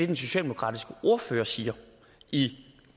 den socialdemokratiske ordfører siger i